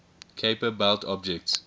kuiper belt objects